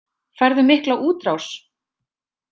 Færðu mikla útrás?